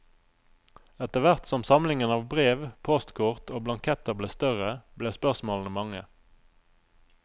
Etter hvert som samlingen av brev, postkort og blanketter ble større, ble spørsmålene mange.